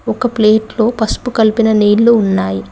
ఒక ప్లేటులో పసుపు కలిపిన నీళ్లు ఉన్నాయి.